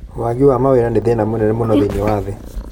wagi wa mawĩra nĩ thĩna mũnene mũno thĩinĩ wa thĩ